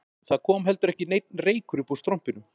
Það kom ekki heldur neinn reykur uppúr strompinum